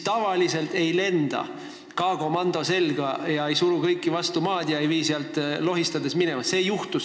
Tavaliselt ei lenda säärasel juhul K-komando selga, ei suru inimesi vastu maad ega vii neid lohistades minema.